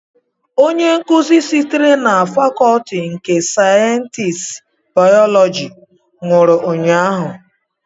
Onye nkuzi sitere na Fakọọti nke sayensị bayọlọji nwụrụ ụnyahụ